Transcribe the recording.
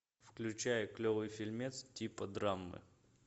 включай клевый фильмец типа драмы